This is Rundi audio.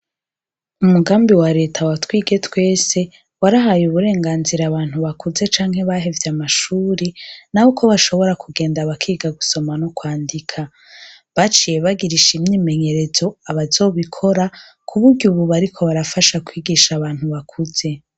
Umugambi wa Leta wa twige twese , warahaye aburenganzira abantu bakuze canke bahevye amashure , nabo ko bashobora kugenda bakiga gusoma n' ukwandika. Baciye bagirisha imyimenyerezo abazobikora, ku buryo ubu bariko barafasha kwigisha abantu bakuze .